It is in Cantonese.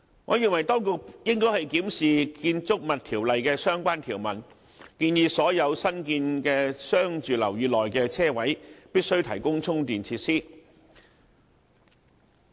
我認為當局應該檢視《建築物條例》的相關條文，建議所有新建的商住樓宇內的車位必須提供充電設施。